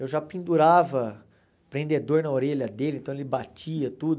Eu já pendurava prendedor na orelha dele, então ele batia, tudo.